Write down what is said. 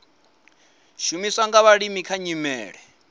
shumiswa nga vhalimi kha nyimele